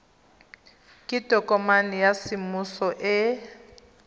ke tokomane ya semmuso e